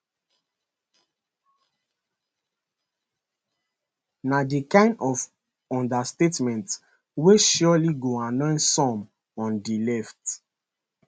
na di kind of understatement wey surely go annoy some on di left